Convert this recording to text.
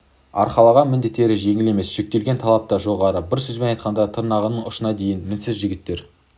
арқалаған міндеттері жеңіл емес жүктелген талап та жоғары бір сөзбен айтқанда тырнағының ұшына дейін мінсіз жігіттер